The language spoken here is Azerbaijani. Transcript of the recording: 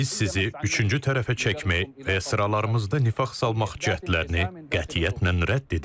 Və biz sizi üçüncü tərəfə çəkmək və sıralarımızda nifaq salmaq cəhdlərini qətiyyətlə rədd edirik.